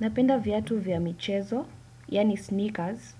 Napenda viatu vya michezo, yaani sneakers,